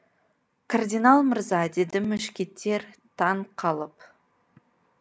кардинал мырза деді мушкетер таң қалып